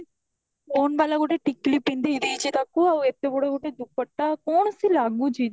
stone ବାଲା ଗୋଟେ ଟିକିଲି ପିନ୍ଧେଇ ଦେଈଛି ତାକୁ ଆଉ ଏତେ ବଡ ଗୁଟେ ଦୁପଟା କଣ ସେ ଲାଗୁଛି